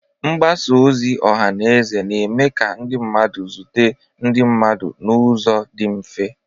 Mgbasa ozi ọha na eze na-eme ka mmadụ zute ndị mmadụ n'ụzọ dị mfe.